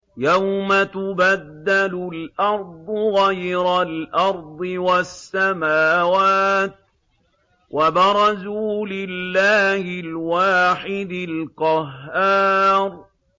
يَوْمَ تُبَدَّلُ الْأَرْضُ غَيْرَ الْأَرْضِ وَالسَّمَاوَاتُ ۖ وَبَرَزُوا لِلَّهِ الْوَاحِدِ الْقَهَّارِ